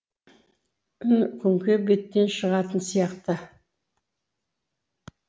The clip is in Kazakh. үн күңгей беттен шығатын сияқты